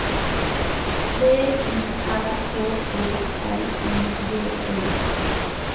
V I R K E L I G E